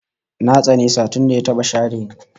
Na tsane sa tunda ya taba share ni